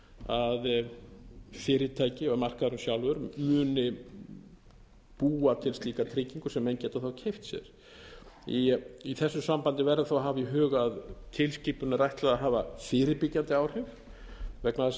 að fyrirtæki og markaðurinn sjálfur muni búa til slíka tryggingu sem menn geta þá keypt sér í þessu sambandi verður þó að hafa í huga að tilskipuninni er ætlað að hafa fyrirbyggjandi áhrif vegna þess